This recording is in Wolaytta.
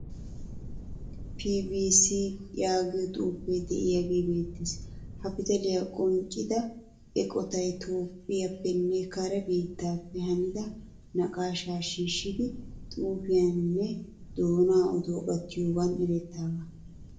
"FBC "yaagiyaa xuufe de'iyage beettees. Ha pitaaliyaa qonccida eqqotay toophphiyappene kare biittaappe hanida naaqqasha shiishidi xuufiyaninne doonaa oduwaa gattiyogan erettidaga.